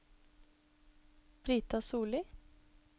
Brita Solli